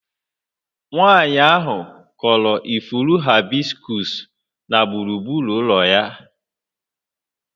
Nwanyị ahụ kụrụ ifuru haịbiskus na gburugburu ụlọ ya